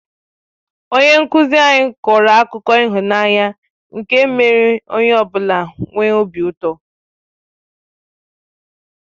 Onye nkụzi anyị kọrọ akụkọ ịhụnanya nke mèrè onye ọ bụla nwee obi ụtọ